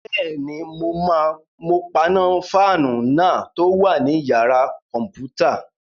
Bẹ́ẹ̀ni, mo paná fáànù náà tó wà ní yàrá-kọ̀mpútà